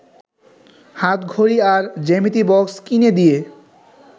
হাতঘড়ি আর জ্যামিতি বক্স কিনে দিয়ে